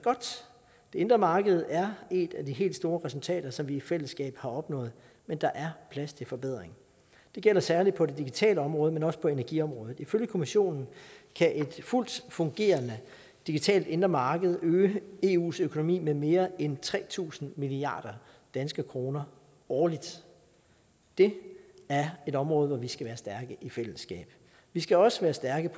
indre marked er et af de helt store resultater som vi i fællesskab har opnået men der er plads til forbedring det gælder særlig på det digitale område men også på energiområdet ifølge kommissionen kan et fuldt fungerende digitalt indre marked øge eus økonomi med mere end tre tusind milliard danske kroner årligt det er et område hvor vi skal være stærke i fællesskab vi skal også være stærke